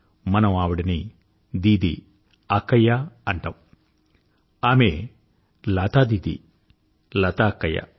మనం ఆవిడని దీదీఅక్కయ్య అంటాము ఆమె లతా దీదీలత అక్కయ్య